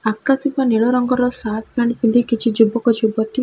ଆକାଶୀ ବା ନୀଳ ରଙ୍ଗର ସାର୍ଟ ପ୍ୟାଣ୍ଟ ପିନ୍ଧି କିଛି ଯୁବକ ଯୁବତୀ --